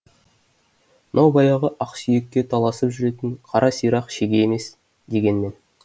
мынау баяғы ақсүйекке таласып жүретін қара сирақ шеге емес дегенмен